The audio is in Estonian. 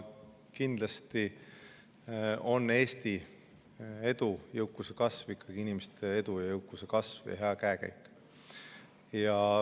Kindlasti on Eesti edu jõukuse kasv – inimeste edu, jõukuse kasv ja hea käekäik.